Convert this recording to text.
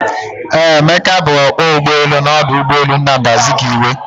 Eeh, Emeka bu ọkpọ ụgbọelu n'ọdụ ụgbọelu Nnamdi Azikiwe